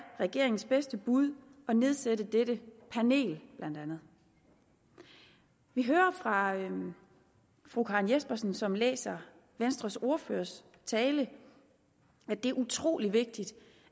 regeringens bedste bud at nedsætte dette panel blandt andet vi hører fra fru karen jespersen som læser venstres ordførers tale at det er utrolig vigtigt